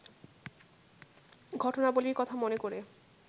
ঘটনাবলির কথা মনে করে